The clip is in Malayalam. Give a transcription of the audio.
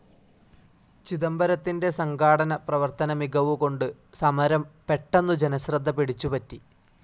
ചിദംബരത്തിന്റെ സംഘാടന, പ്രവർത്തന മികവുകൊണ്ട് സമരം പെട്ടെന്നു ജനശ്രദ്ധ പിടിച്ചു പറ്റി.